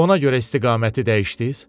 Ona görə istiqaməti dəyişdiz?